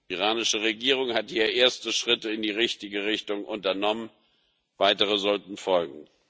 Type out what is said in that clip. Die iranische Regierung hat hier erste Schritte in die richtige Richtung unternommen, weitere sollten folgen.